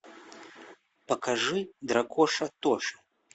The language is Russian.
покажи дракоша тоша